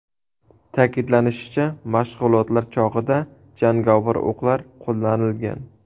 Ta’kidlanishicha, mashg‘ulotlar chog‘ida jangovar o‘qlar qo‘llanilgan.